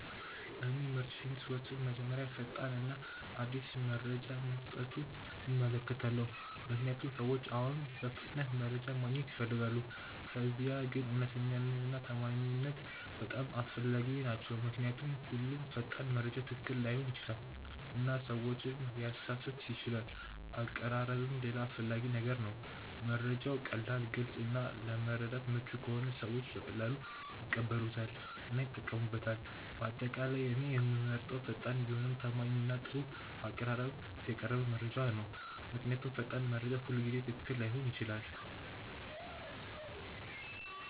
እኔ ምርጫዬን ስወስን መጀመሪያ ፈጣን እና አዲስ መረጃ መስጠቱን እመለከታለሁ፣ ምክንያቱም ሰዎች አሁን በፍጥነት መረጃ ማግኘት ይፈልጋሉ። ከዚያ ግን እውነተኛነት እና ታማኝነት በጣም አስፈላጊ ናቸው ምክንያቱም ሁሉም ፈጣን መረጃ ትክክል ላይሆን ይችላል እና ሰዎችን ሊያሳስት ይችላል አቀራረብም ሌላ አስፈላጊ ነገር ነው፤ መረጃው ቀላል፣ ግልጽ እና ለመረዳት ምቹ ከሆነ ሰዎች በቀላሉ ይቀበሉታል እና ይጠቀሙበታል። በአጠቃላይ እኔ የምመርጠው ፈጣን ቢሆንም ታማኝ እና በጥሩ አቀራረብ የቀረበ መረጃ ነው። ምክንያቱም ፈጣን መረጃ ሁልጊዜ ትክክል ላይሆን ይችላል።